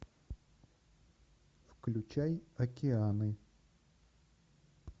включай океаны